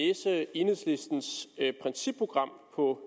enhedslistens principprogram på